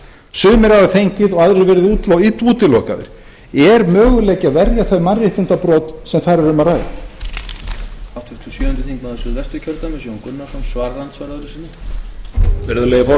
sumir hafa fengið en aðrir verið útilokaðir er möguleiki að verja þau mannréttindabrot sem þar er um að ræða